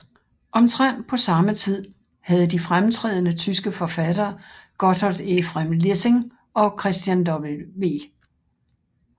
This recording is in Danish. Omtrent på samme tid havde de fremtrædende tyske forfattere Gotthold Ephraim Lessing og Christian W